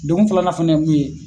degun filanan fana ye min ye.